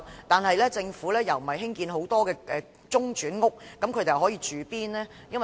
但政府並沒有興建很多中轉屋，那麼他們可在哪裏居住呢？